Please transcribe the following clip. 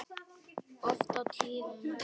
Oft á tíðum.